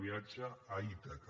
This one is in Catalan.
viatge a ítaca